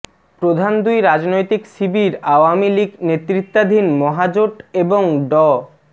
প্রধান দুই রাজনৈতিক শিবির আওয়ামী লীগ নেতৃত্বাধীন মহাজোট এবং ড